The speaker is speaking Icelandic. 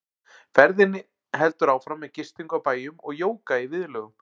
Ferðinni heldur áfram með gistingu á bæjum og jóga í viðlögum.